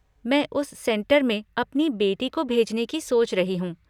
मैं उस सेंटर में अपनी बेटी को भेजने की सोच रही हूँ।